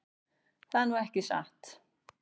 Það er nú ekki satt.